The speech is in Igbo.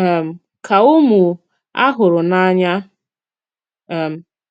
um ka ụmụ a hùrù n'anya.” um